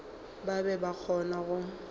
ba be ba kgona go